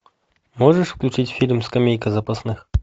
можешь включить фильм скамейка запасных